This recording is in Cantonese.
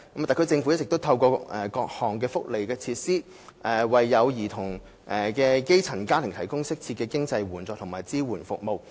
特區政府一直透過各項福利措施，為有兒童的基層家庭提供適切的經濟援助和支援服務。